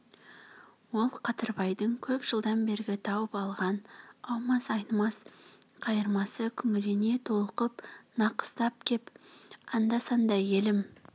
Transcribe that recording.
ол қадырбайдың көп жылдан бергі тауып алған аумас айнымас қайырмасы күңірене толқып нақыстап кеп анда-санда елім